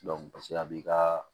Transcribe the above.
a b'i ka